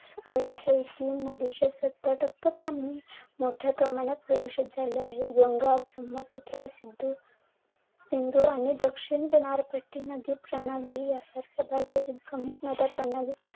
आले आहे. सत्तर टक्के पाणी मोठ्या प्रमाणात प्रदूषित झाले आहे. गंगा, ब्रह्मपुत्रा, सिंधू आणि दक्षिण किनार पट्टीना जी प्रणाली आहे, तर भारतातील प्रमुख नद्या